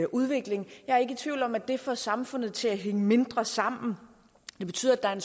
udvikling jeg er ikke i tvivl om at det får samfundet til at hænge mindre sammen det betyder at